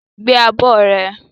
Gbé abọ́ rẹ!